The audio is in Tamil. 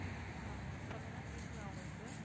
அஹ் சொல்லுங்க கேக்குதா உங்களுக்கு